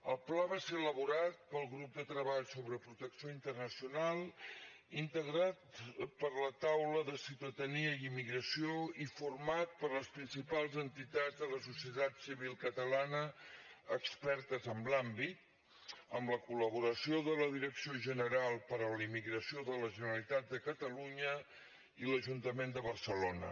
el pla va ser elaborat pel grup de treball sobre protecció internacional integrat per la taula de ciutadania i immigració i format per les principals entitats de la societat civil catalana expertes en l’àmbit amb la col·laboració de la direcció general per a la immigració de la generalitat de catalunya i l’ajuntament de barcelona